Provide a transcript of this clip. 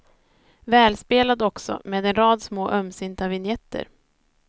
Välspelad också, med en rad små ömsinta vinjetter.